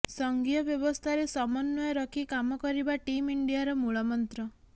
ସଂଘୀୟ ବ୍ୟବସ୍ଥାରେ ସମନ୍ୱୟ ରଖି କାମ କରିବା ଟିମ୍ ଇଣ୍ଡିଆର ମୂଳମନ୍ତ୍ର